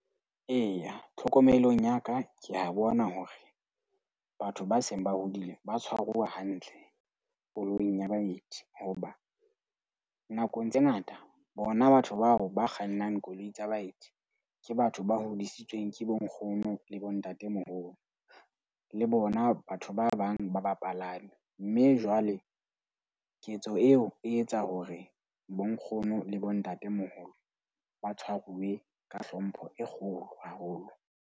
Eya, tlhokomelong ya ka, ke a bona hore batho ba seng ba hodile ba tshwaruwa hantle koloing ya baeti. Hoba nakong tse ngata bona batho bao ba kgannang koloi tsa baeti. Ke batho ba hodisitsweng ke bonkgono le bontatemoholo le bona batho ba bang ba bapalami. Mme jwale ketso eo e etsa hore bonkgono le bontatemoholo ba tshwaruwe ka hlompho e kgolo haholo.